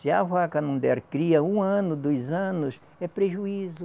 Se a vaca não der cria um ano, dois anos, é prejuízo.